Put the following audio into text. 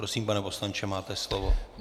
Prosím, pane poslanče, máte slovo.